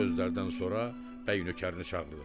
Bu sözlərdən sonra bəy nökərini çağırdı.